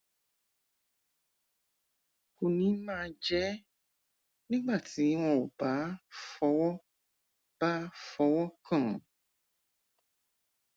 kò ní máa jẹ ẹ nígbà tí wọn ò bá fọwọ bá fọwọ kàn án